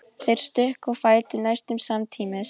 Þeir stukku á fætur næstum samtímis.